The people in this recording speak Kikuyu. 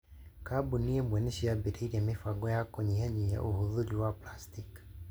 Kambuni imwe nĩ ciambĩrĩirie mĩbango ya kũnyihanyivia ũvũthĩri wa plastiki.